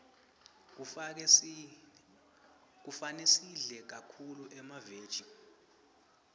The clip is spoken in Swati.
kufane sidle kakhulu emaveji